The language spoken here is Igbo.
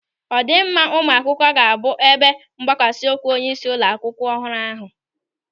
Ọdịmma ụmụ akwụkwọ ga-abụ ebe mgbakwasa ụkwụ onyeisi ụlọ akwụkwọ ọhụrụ ahụ.